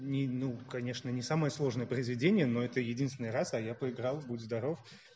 ни ну конечно не самое сложное произведение но это единственный раз а я поиграл будь здоров